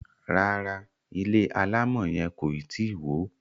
ràrá ilé alamò yen koi tí wọ.